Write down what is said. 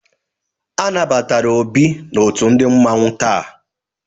Anabatara Ọbi n'ọtu ndi mmanwu taa.